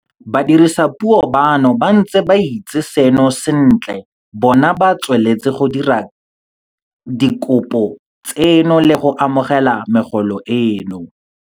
Badiredipuso bano ba ntse ba itse seno sentle bona ba tsweletse go dira dikopo tseno le go amogela megolo eno.